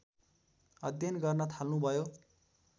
अध्ययन गर्न थाल्नु भयो